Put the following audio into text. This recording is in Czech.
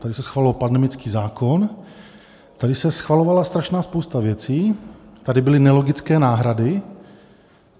Tady se schvaloval pandemický zákon, tady se schvalovala strašná spousta věcí, tady byly nelogické náhrady.